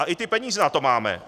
A i ty peníze na to máme.